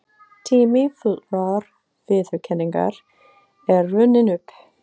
Tími fullrar viðurkenningar er runninn upp.